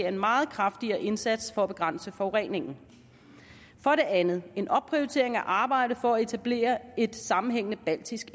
en meget kraftigere indsats for at begrænse forureningen for det andet en opprioritering af arbejdet for at etablere et sammenhængende baltisk